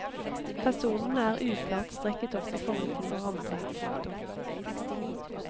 Personene er uklart streket opp i forhold til hverandre. punktum